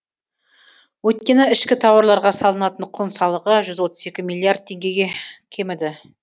өйткені ішкі тауарларға салынатын құн салығы жүз отыз екі миллиард теңгеге кеміді